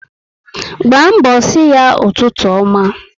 Gbaa mbọ si ya ụtụtụ ọma